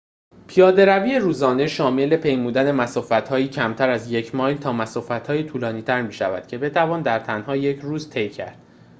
پیاده‌روی روزانه شامل پیمودن مسافت‌هایی کمتر از یک مایل تا مسافت‌های طولانی‌تر می‌شود که بتوان در تنها یک روز طی کرد